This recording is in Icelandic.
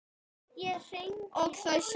Og þau sjá það.